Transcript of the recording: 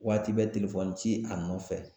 Waati bɛ ci a nɔfɛ